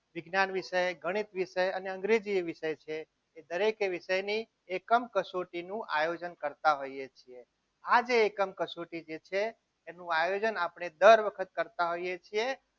વિજ્ઞાન વિશે ગણિત વિશે અને અંગ્રેજી વિષય જે છે એ દરેકે વિષયની એકમ કસોટી નું આયોજન કરતા હોઈએ છીએ આજે એકમ કસોટી જે છે એનું આયોજન આપણે દર વખત કરતા હોઈએ છીએ.